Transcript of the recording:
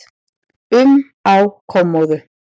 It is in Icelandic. um á kommóðu.